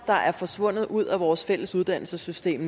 der er forsvundet ud af vores fælles uddannelsessystem